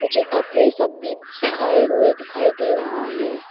ये कपड़े सब भी सुखाए हुए दिखाई दे रहा है।